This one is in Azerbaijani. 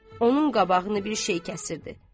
Onun qabağını bir şey kəsirdi.